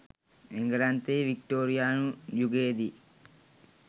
එංගලන්තයේ වික්ටෝරියානු යුගයේදී